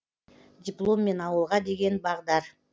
дипломмен ауылға деген бағдар